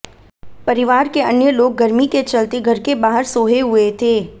परिवार के अन्य लोग गर्मी के चलते घर के बाहर सोए हुए थे